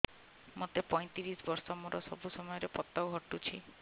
ମୋତେ ପଇଂତିରିଶ ବର୍ଷ ମୋର ସବୁ ସମୟରେ ପତ ଘଟୁଛି